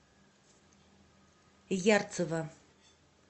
ярцева